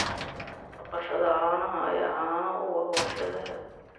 Dhaqashada caanaha ayaa caano u ah warshadaha.